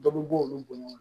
Dɔ bɛ bɔ olu bo ɲɔgɔn na